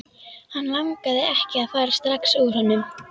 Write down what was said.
Hann langaði ekki að fara strax úr honum.